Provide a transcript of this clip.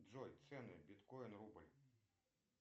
джой цены биткоин рубль